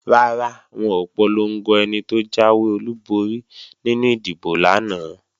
Rárá, wọn ò polongo ẹni tó jáwé olúborí nínú ìdìbò lánàá